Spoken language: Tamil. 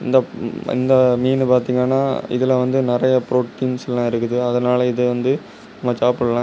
இந்த ம மீனு பார்த்தீங்கன்னா இதுல வந்து நெறைய ப்ரோடீன்ஸ் எல்லாம் இருக்குது. அதனால இத வந்து நம்ப சாப்பிடலா.